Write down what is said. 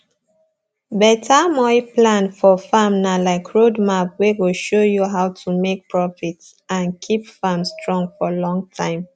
beta moi plan for farm na like road map wey go show you how to make profit and keep farm strong for long time